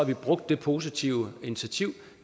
brugt det positive initiativ